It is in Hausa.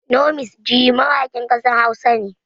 Nomis gee mawakin kasar Hausa ne